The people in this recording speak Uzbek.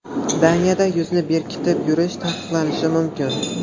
Daniyada yuzni bekitib yurish taqiqlanishi mumkin.